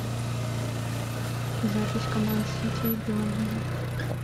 запись команд сити и бернли